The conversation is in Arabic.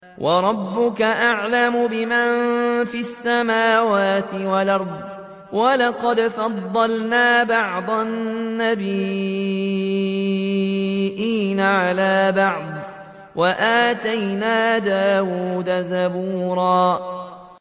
وَرَبُّكَ أَعْلَمُ بِمَن فِي السَّمَاوَاتِ وَالْأَرْضِ ۗ وَلَقَدْ فَضَّلْنَا بَعْضَ النَّبِيِّينَ عَلَىٰ بَعْضٍ ۖ وَآتَيْنَا دَاوُودَ زَبُورًا